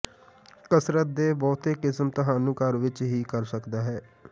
ਕਸਰਤ ਦੇ ਬਹੁਤੇ ਕਿਸਮ ਤੁਹਾਨੂੰ ਘਰ ਵਿੱਚ ਹੀ ਕਰ ਸਕਦਾ ਹੈ